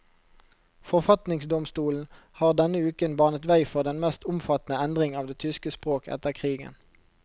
Forfatningsdomstolen har denne uken banet vei for den mest omfattende endring av det tyske språk etter krigen.